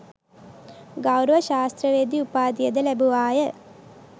ගෞරව ශාස්ත්‍රවේදි උපාධියද ලැබුවාය.